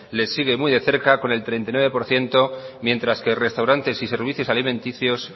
le sigue muy de cerca con el treinta y nueve por ciento mientras que restaurantes y servicios alimenticios